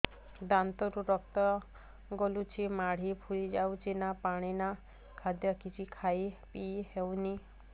ଦାନ୍ତ ରୁ ରକ୍ତ ଗଳୁଛି ମାଢି ଫୁଲି ଯାଉଛି ନା ପାଣି ନା ଖାଦ୍ୟ କିଛି ଖାଇ ପିଇ ହେଉନି